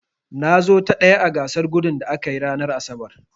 Na zo ta ɗaya a gasar gudun da aka yi ranar asabar.